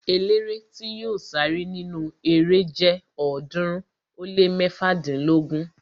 Eléré tí yóò sáré nínu erée jẹ ọ̀ọ́dúnrún ó lé mẹ́fádínlógún